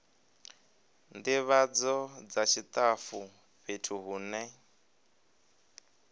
ndivhadzo dza tshitafu fhethu hune